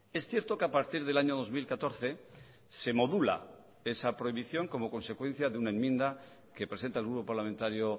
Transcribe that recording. es cierto que a partir del año dos mil catorce se modula esa prohibición como consecuencia de una enmienda que presenta el grupo parlamentario